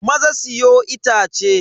Maza siyo itace.